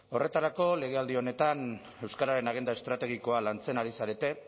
horretarako legealdi honetan euskararen agenda estrategikoa lantzen ari zarete